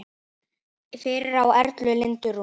Fyrir á Erla Lindu Rún.